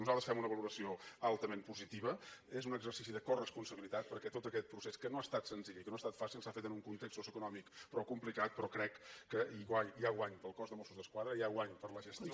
nosaltres en fem una valoració altament positiva és un exercici de coresponsabilitat perquè tot aquest procés que no ha estat senzill i que no ha estat fàcil s’ha fet en un context socioeconòmic prou complicat però crec que hi ha guany per al cos de mossos d’esquadra hi ha guany per a la gestió